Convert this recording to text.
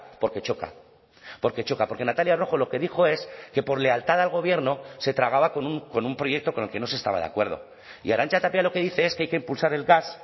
porque choca porque choca porque natalia rojo lo que dijo es que por lealtad al gobierno se tragaba con un proyecto con el que no se estaba de acuerdo y arantza tapia lo que dice es que hay que impulsar el gas